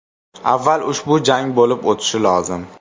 Avval ushbu jang bo‘lib o‘tishi lozim.